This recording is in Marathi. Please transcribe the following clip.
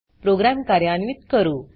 प्रोग्राम कार्यान्वीत करू